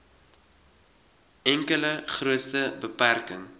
enkele grootste beperking